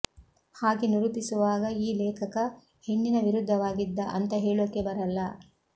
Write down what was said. ಹಾಗೆ ನಿರೂಪಿಸುವಾಗ ಈ ಲೇಖಕ ಹೆಣ್ಣಿನ ವಿರುದ್ಧವಾಗಿದ್ದ ಅಂತ ಹೇಳೋಕೆ ಬರಲ್ಲ